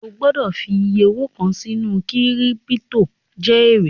O gbọ́dọ̀ fi iyẹ owó kàn sínú kírípítò jẹ èrè